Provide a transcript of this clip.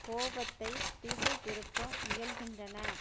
கோபத்தை திசை திருப்ப முயல்கின்றன